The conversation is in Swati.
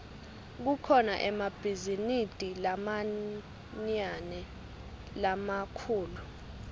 kukhona emabhizinidi lamaniane nalamakhulu